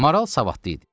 Maral savadlı idi.